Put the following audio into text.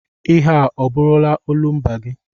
Ihe ọ bụrụla olumba gị?